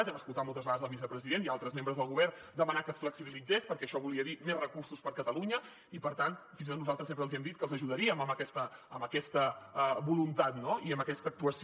hem escoltat moltes vegades el vicepresident i altres membres del govern demanar que es flexibilitzés perquè això volia dir més recursos per a catalunya i per tant fins i tot nosaltres sempre els hem dit que els ajudaríem en aquesta voluntat no i en aquesta actuació